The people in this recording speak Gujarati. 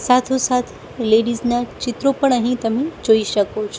સાથોસાથ લેડીસ ના ચિત્રો પણ અહીં તમે જોય શકો છો.